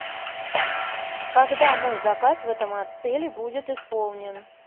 когда мой заказ в этом отеле будет исполнен